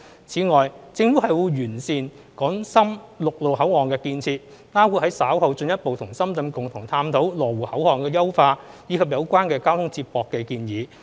此外，政府會完善港深陸路口岸建設，包括於稍後進一步與深圳共同探討羅湖口岸的優化，以及有關交通接駁的建議。